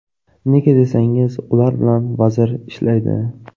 Nega desangiz, ular bilan vazir ishlaydi.